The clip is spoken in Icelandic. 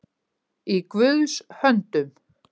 Í Guðs höndum